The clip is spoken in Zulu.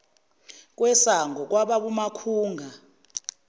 kwesango kwababa umakhunga